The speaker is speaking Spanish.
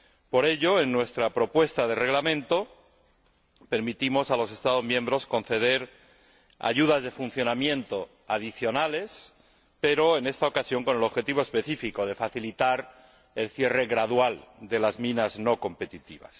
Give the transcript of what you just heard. Por ello, en nuestra propuesta de Reglamento permitimos a los Estados miembros conceder ayudas de funcionamiento adicionales pero, en esta ocasión, con el objetivo específico de facilitar el cierre gradual de las minas no competitivas.